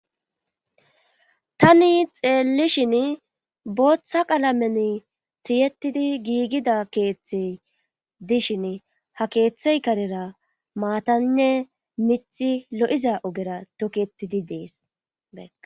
tani xeellishin booththa qalamen tiyettidi giigida keeththey dishin ha keeththey karera maatanne mithi lo7iza ogera tokeetidi dees